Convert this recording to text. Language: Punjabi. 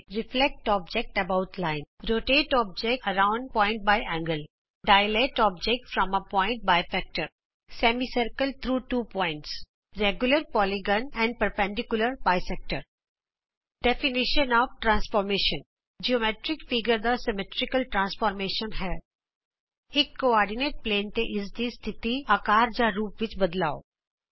reflect object about line rotate object around point by angle dilate object from a point by factor semicircle through two points regular polygon and ਲੰਬ ਦੋਭਾਜਕ ਰੂਪਾਂਤਰ ਦੀ ਪਰਿਭਾਸ਼ਾ ਜਿਉਮੈਟਰਿਕ ਚਿੱਤਰ ਦਾ ਸਮਮਿਤੀ ਰੂਪਾਂਤਰ ਹੈ ਇਕ ਧੁਰੇ ਦੇ ਪੱਧਰ ਤੇ ਇਸਦੀ ਸਥਿਤੀ ਆਕਾਰ ਜਾਂ ਰੂਪ ਵਿਚ ਬਦਲਾੳੇ